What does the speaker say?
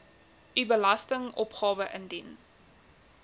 u belastingopgawe ingedien